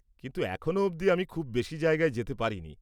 কিন্তু এখনও অবধি আমি খুব বেশি জায়গায় যেতে পারিনি।